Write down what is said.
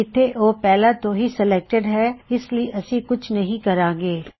ਇੱਥੇ ਓਹ ਪਹਿਲਾ ਤੋਂ ਹੀ ਸੇਲੈਕਟਿਡ ਹੈ ਇਸ ਲਈ ਐਸੀ ਕੁਛ ਨਹੀਂ ਕਰਾਂ ਗੇ